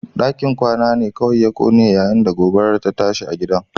Dakin kwana ne kawai ya kone yayin da gobarar ta tashi a gidan